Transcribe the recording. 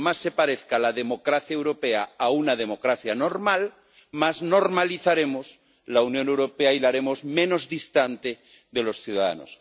Cuanto más se parezca la democracia europea a una democracia normal, más normalizaremos la Unión Europea y la haremos menos distante de los ciudadanos.